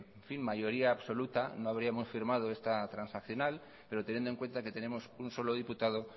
mayoría absoluta no habríamos firmado esta transaccional pero teniendo en cuenta que tenemos un solo diputado